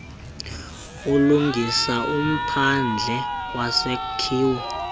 ulungisa umphandle wesakhiwo